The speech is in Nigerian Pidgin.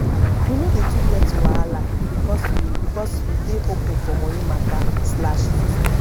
we no dey too get wahala because we because we dey open for moni mata slash full stop